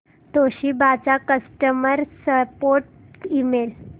Toshiba चा customer support email